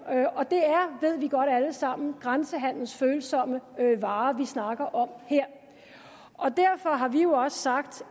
vi ved godt alle sammen grænsehandelsfølsomme varer vi snakker om her derfor har vi jo også sagt